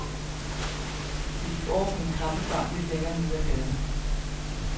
Vi gik over på en kaffebar lidt længere nede af gaden.